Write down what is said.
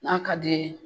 N'a ka d'i ye